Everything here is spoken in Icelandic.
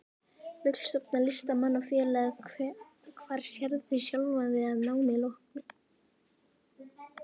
Vill stofna Listamanna-félag Hvar sérðu sjálfan þig að námi loknu?